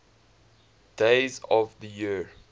days of the year